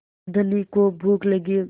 धनी को भूख लगी